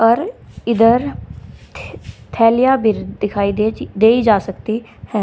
और इधर थै थैलिया भी दिखाई देजी देई जा सकती है।